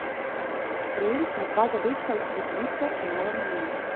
Prejeli smo dva zadetka iz prekinitve, malo naivno.